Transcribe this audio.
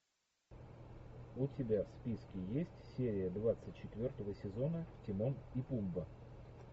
у тебя в списке есть серия двадцать четвертого сезона тимон и пумба